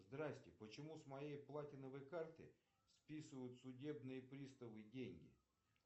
здрасьте почему с моей платиновой карты списывают судебные приставы деньги